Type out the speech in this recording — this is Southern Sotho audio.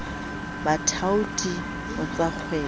a bathaoti ho tsakgwebo a